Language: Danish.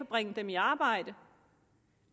bringe dem i arbejde